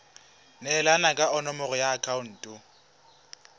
neelana ka nomoro ya akhaonto